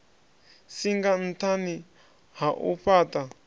singa nṱhani ha u fhaṱha